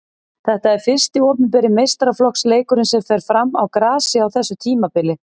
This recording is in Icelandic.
Þetta er fyrsti opinberi meistaraflokksleikurinn sem fer fram á grasi á þessu tímabili.